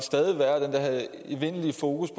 evindelige fokus